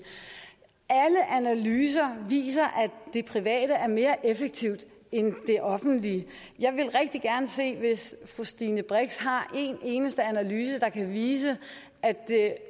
alle analyser viser at det private er mere effektivt end det offentlige jeg ville rigtig gerne se det hvis fru stine brix har en eneste analyse der kan vise at det